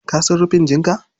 Ka san rufin jinka?